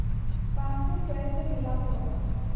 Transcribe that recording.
कानपुर शहर से मिला हुआ